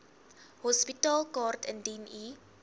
hospitaalkaart indien u